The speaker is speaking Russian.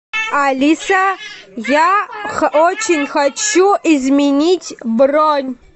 алиса я очень хочу изменить бронь